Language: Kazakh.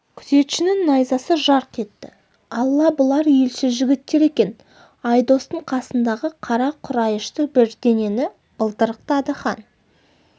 күзетшінің найзасы жарқ етті алла бұлар елші жігіттер екен айдостың қасындағы қара құрайышты бірдеңені былдырықтады хан